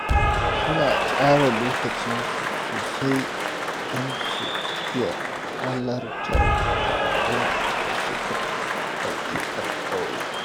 Suna tsara lokacin su sosai don su iya halartar taron da suka ɗauki alƙawari.